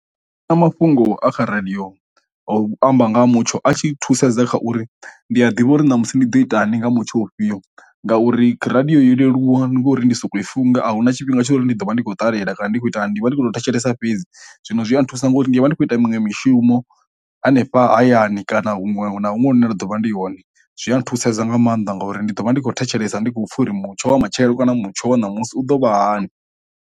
Na mafhungo a kha radio a u amba nga mutsho a tshi thusedza kha uri ndi a ḓivha uri na musi ndi ḓo ita ni nga mutsho ufhio, ngauri radio yo leluwa ngori ndi soko i funga ahuna tshifhinga tsho uri ndi ḓo vha ndi khou ṱalela kana ndi khou itani ndi vha ndikho thetshelesa fhedzi, zwino zwi a thusa ngori ndivha ndi kho ita miṅwe mishumo hanefha hayani kana huṅwe na huṅwe hune nda ḓo vha ndi hone zwi a thusedza nga maanḓa ngauri ndi ḓo vha ndi kho thetshelesa ndi khou pfha uri mutsho wa matshelo kana mutsho wa ṋamusi u ḓo vha hani.